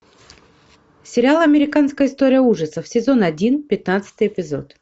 сериал американская история ужасов сезон один пятнадцатый эпизод